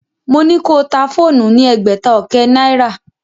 Mo ní ko ta fóònù ní ẹgbẹ̀ta ọkẹ́ náìrà.